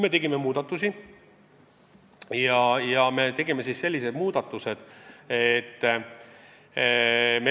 Meie tegime muudatusi.